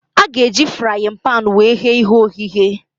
A ga-eji fraaịn panu wee ghee ihe ogheghe